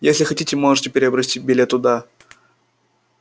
если хотите можете приобрести билет туда